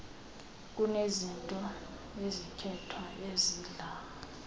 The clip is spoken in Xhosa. kunezinto ezikhethwayo ezidla